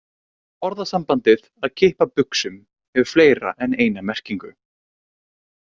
Orðasambandið að kippa buxum hefur fleiri en eina merkingu.